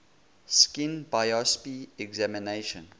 skin biopsy examination